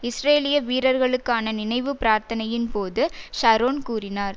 இஸ்ரேலிய வீரர்களுக்கான நினைவு பிரார்த்தனையின்போது ஷரோன் கூறினார்